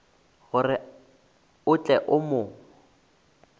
gore o tle o mo